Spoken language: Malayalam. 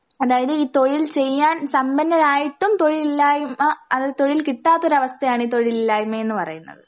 അതായത് ഈ തൊഴിൽ ചെയ്യാൻ സമ്പന്നരായിട്ടും തൊഴിലില്ലായ്മ അൽ തൊഴിൽ കിട്ടാത്തൊരവസ്ഥയാണ് ഈ തൊഴിലില്ലായ്മ എന്നു പറയുന്നത്.